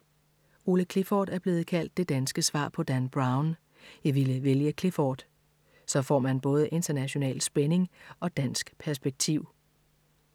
Ole Clifford er blevet kaldt det danske svar på Dan Brown. Jeg ville vælge Clifford. Så får man både international spænding og dansk perspektiv.